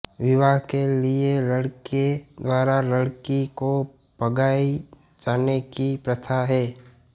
विवाह के लिये लड़के द्वारा लड़की को भगाए जाने की प्रथा है